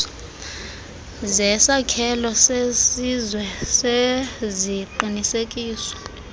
zesakhelo sesizwe seziqinisekiso